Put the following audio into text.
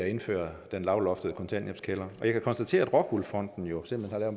indføres den lavloftede kontanthjælpskælder og jeg kan konstatere at rockwool fonden jo simpelt hen har